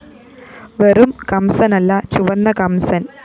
വെറും കംസനല്ല ചുവന്ന കംസന്‍